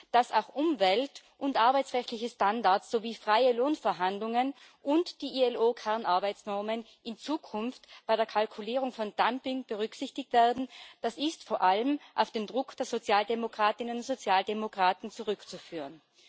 Dass auch umwelt und arbeitsrechtliche Standards sowie freie Lohnverhandlungen und die ILO Kernarbeitsnormen in Zukunft bei der Kalkulierung von Dumping berücksichtigt werden, ist vor allem auf den Druck der Sozialdemokratinnen und Sozialdemokraten zurückzuführen.